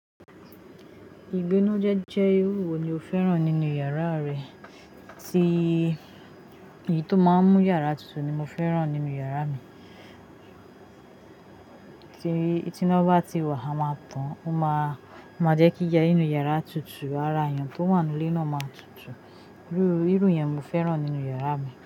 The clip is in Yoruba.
Ìgbín jẹ jẹ irú wo ni o fẹ́ràn nínú yàrá rẹ? Ti èyí tó máa ń mú yàrá tutù ni mo fẹ́ràn nínú yàrá mi. Ki tí iná bá ti wà, a máa tan, ó máa jẹ́ kí i ya nínú yàrá tutù, ara èèyàn tó wà nínú ilé náà máa tutù. Irú yẹn mo fẹ́ràn nínú yàrá mi.